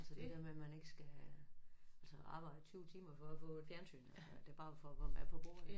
Altså det der med man ikke skal altså arbejde 20 timer for at få et fjernsyn altså at det bare var for at få mad på bordet ik